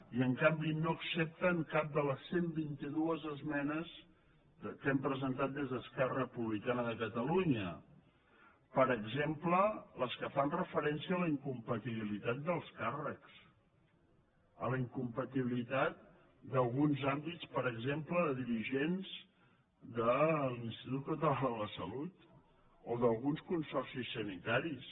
i en canvi no accepten cap de les cent i vint dos esmenes que hem presentat des d’esquerra republicana de catalunya per exemple les que fan referència a la incompatibilitat dels càrrecs a la incompatibilitat d’alguns àmbits per exemple de dirigents de l’institut català de la salut o d’alguns consorcis sanitaris